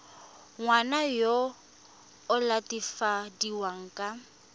ngwana yo o latofadiwang ka